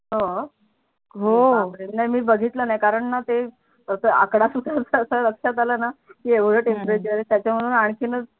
नाही मी बिगितल नाही कारण णा ते अस आकडा सुचत अस लक्षात आल णा की येवड टेंपरेचर त्याच्या मूळे आणखिनच